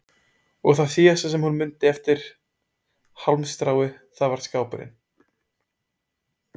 Og það síðasta sem hún mundi eftir hálmstráið það var skápurinn.